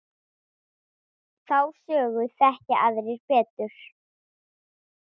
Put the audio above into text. Þá sögu þekkja aðrir betur.